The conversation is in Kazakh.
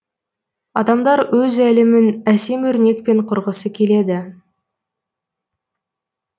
адамдар өз әлемін әсем өрнекпен құрғысы келеді